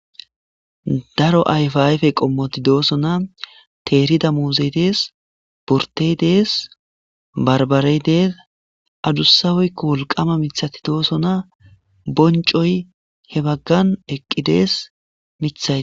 Daro ayfa ayfe qommoti dooso na teerida muzeydees bortey dees barbare dees adusaweykko wolqama mithati doosona boncoy he baggan eqqidees mithaye.